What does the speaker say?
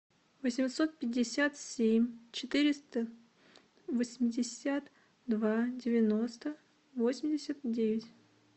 восемьсот пятьдесят семь четыреста восемьдесят два девяносто восемьдесят девять